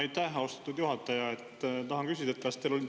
Aitäh, austatud juhataja!